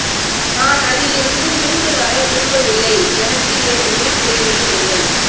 நான் அதிலிருந்து மீண்டு வர விரும்பவில்லை எனக்கு என் உயிர் தேவையும் இல்லை